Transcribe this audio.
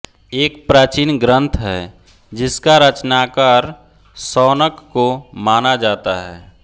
एक प्राचीन ग्रन्थ है जिसका रचनाकार शौनक को माना जाता है